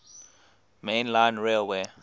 main line railway